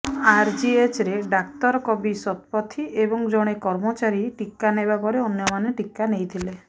ଆରଜିଏଚରେ ଡାକ୍ତର କବି ଶତପଥୀ ଏବଂ ଜଣେ କର୍ମଚାରୀ ଟିକା ନେବା ପରେ ଅନ୍ୟମାନେ ଟିକା ନେଇଥିଲେ